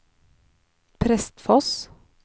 Prestfoss